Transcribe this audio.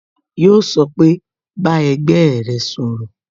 Yó sọ pé "Bá ẹgbẹ́ rẹ sọ̀rọ̀